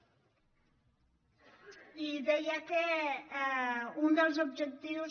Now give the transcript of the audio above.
i deia que un dels objectius